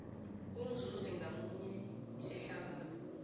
umzuzi ngamunye isehlakalo